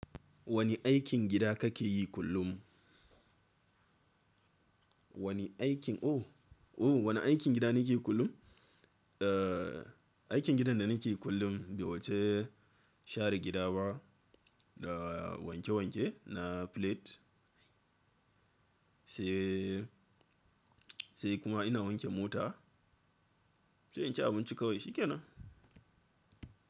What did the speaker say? Wani aikin gida kake yi kullum? Wani aikin, oh, oh wani aikin gida nake yi kullum? Aikin gidan da nake yi kullum ba wuce share gida ba da wanke wanke na plate sai, sai kuma ina wanke mota. Sai in ci abinci kawai shikenan.